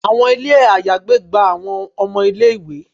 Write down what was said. Àwọn ilé àyágbé gba àwọn ọmọ ilé-ìwé